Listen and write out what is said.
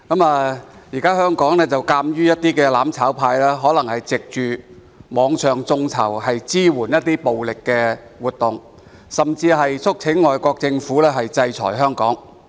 目前，香港的"攬炒派"藉網上眾籌支援暴力活動，甚至促請外國政府制裁香港。